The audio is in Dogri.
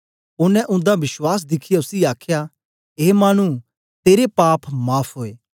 ओनें उन्दा बश्वास दिखियै उसी आखया ए मानु तेरे पाप माफ़ ओए